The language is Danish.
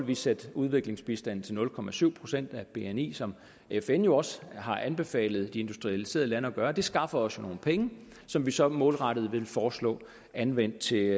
vi sætte udviklingsbistanden til nul procent procent af bni som fn jo også har anbefalet de industrialiserede lande at gøre det skaffer os nogle penge som vi så målrettet vil foreslå anvendt til